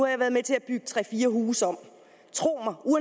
jeg været med til at bygge tre fire huse om